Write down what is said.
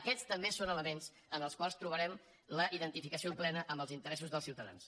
aquests també són elements en els quals trobarem la identificació plena amb els interessos dels ciutadans